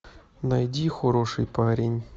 найди хороший парень